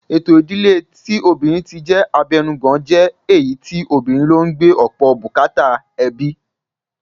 Ètò ìdíle tí obìnrin ti jẹ́ abẹnugan jẹ́ èyí tí obìnrin ló ń gbé ọ̀pọ̀ bùkátà ẹbí